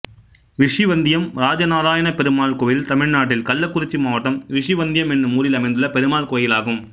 ரிஷிவந்தியம் ராஜநாராயணப்பெருமாள் கோயில் தமிழ்நாட்டில் கள்ளக்குறிச்சி மாவட்டம் ரிஷிவந்தியம் என்னும் ஊரில் அமைந்துள்ள பெருமாள் கோயிலாகும்